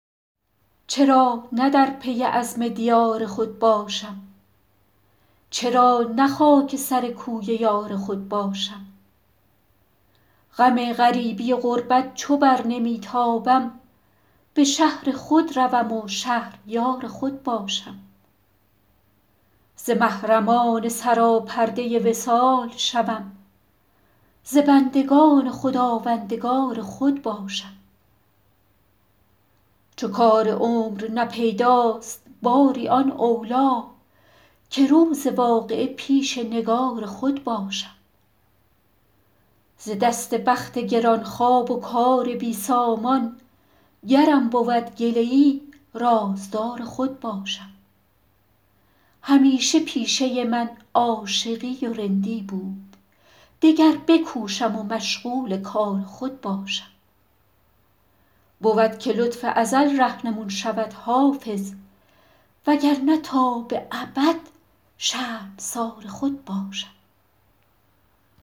چرا نه در پی عزم دیار خود باشم چرا نه خاک سر کوی یار خود باشم غم غریبی و غربت چو بر نمی تابم به شهر خود روم و شهریار خود باشم ز محرمان سراپرده وصال شوم ز بندگان خداوندگار خود باشم چو کار عمر نه پیداست باری آن اولی که روز واقعه پیش نگار خود باشم ز دست بخت گران خواب و کار بی سامان گرم بود گله ای رازدار خود باشم همیشه پیشه من عاشقی و رندی بود دگر بکوشم و مشغول کار خود باشم بود که لطف ازل رهنمون شود حافظ وگرنه تا به ابد شرمسار خود باشم